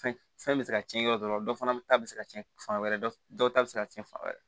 Fɛn fɛn bɛ se ka cɛn yɔrɔ dɔ fana ta bɛ se ka cɛn fan wɛrɛ dɔ ta bɛ se ka cɛn fan wɛrɛ